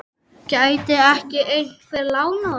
Gæti ekki einhver lánað okkur?